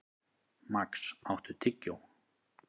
Max, áttu tyggjó?